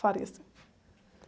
Faria, sim.